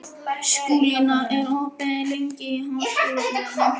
Skúlína, hvað er opið lengi í Háskólabúðinni?